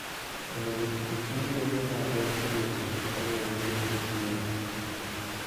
Onego ochiw yedhe ma geng'o tuoche kaluwore gi hik winy.